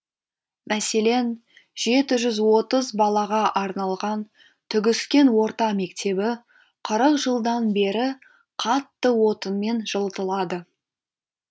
мәселен жеті жүз отыз балаға арналған түгіскен орта мектебі қырық жылдан бері қатты отынмен жылытылады